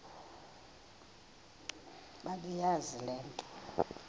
bebeyazi le nto